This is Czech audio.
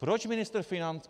Proč ministr financí...